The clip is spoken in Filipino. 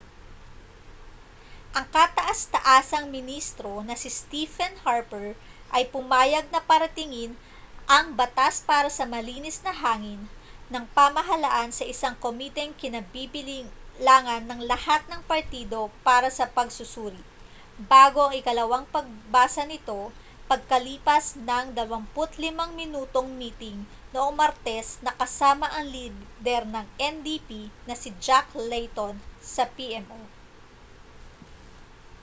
ang kataas-taasang ministro na si stephen harper ay pumayag na paratingin ang batas para sa malinis na hangin' ng pamahalaan sa isang komiteng kinabibilangan ng lahat ng partido para sa pagsusuri bago ang ikalawang pagbasa nito pagkalipas ng 25 minutong miting noong martes na kasama ang lider ng ndp na si jack layton sa pmo